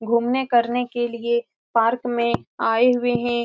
घूमने करने के लिए पार्क में आए हुए है।